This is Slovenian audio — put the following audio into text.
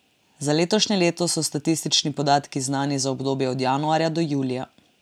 Za letošnje leto so statistični podatki znani za obdobje od januarja do julija.